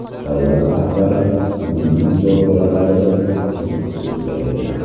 Davlat rahbari umumiy muzokaralarida nutq so‘zlaydi.